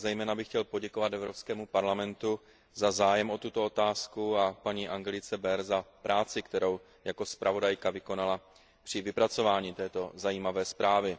Zejména bych chtěl poděkovat Evropskému parlamentu za zájem o tuto otázku a paní Angelice Beer za práci, kterou jako zpravodajka vykonala při vypracování této zajímavé zprávy.